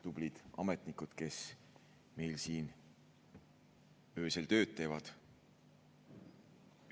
Tublid ametnikud, kes meil siin öösel tööd teevad!